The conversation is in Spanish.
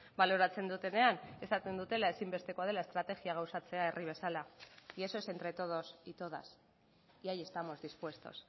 baloratzen dutenean esaten dutela ezinbestekoa dela estrategia gauzatzea herri bezala y eso es entre todos y todas y ahí estamos dispuestos